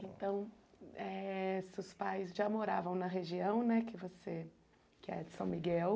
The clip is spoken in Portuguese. Então, eh seus pais já moravam na região né que você, que é São Miguel.